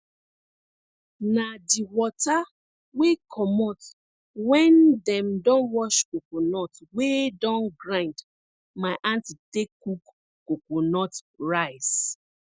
na di wata wey comot wen dem don wash coconut wey don grind my aunty take cook coconut rice